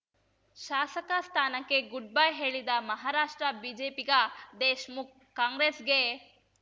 ಶಾಸಕ ಸ್ಥಾನಕ್ಕೆ ಗುಡ್‌ಬೈ ಹೇಳಿದ ಮಹಾರಾಷ್ಟ್ರ ಬಿಜೆಪಿಗ ದೇಶ್‌ಮುಖ್‌ ಕಾಂಗ್ರೆಸ್‌ಗೆ